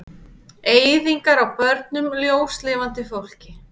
Eyðingar á börnum, ljóslifandi fólki.